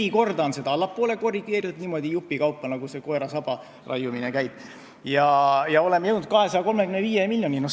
Neli korda on seda allapoole korrigeeritud, niimoodi jupikaupa, nagu koera saba raiumine käib, ja oleme jõudnud 235 miljonini.